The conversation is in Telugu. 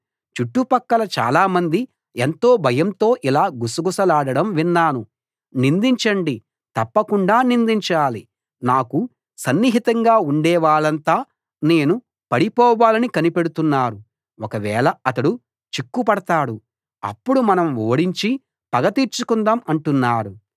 చుట్టుపక్కలా చాలామంది ఎంతో భయంతో ఇలా గుసగుసలాడడం విన్నాను నిందించండి తప్పకుండా నిందించాలి నాకు సన్నిహితంగా ఉండేవాళ్ళంతా నేను పడిపోవాలని కనిపెడుతున్నారు ఒకవేళ అతడు చిక్కుపడతాడు అప్పుడు మనం ఓడించి పగ తీర్చుకుందాం అంటున్నారు